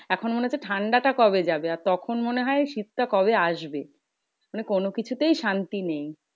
এখন মনে হচ্ছে ঠান্ডাটা কবে যাবে? আর তখন মনে হয় শীতটা কবে আসবে? মানে কোনো কোনোকিছুতেই শান্তি নেই।